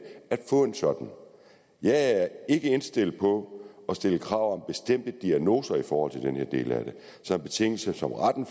at få en sådan jeg er ikke indstillet på at stille krav om bestemte diagnoser i forhold til den her del af det som betingelse for retten